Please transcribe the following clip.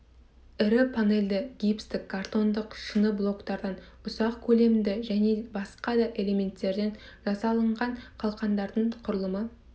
ірі панельді гипстік картондық шыны блоктардан ұсақ көлемді және басқа да элементтерден жасалынған қалқандардың құрылымы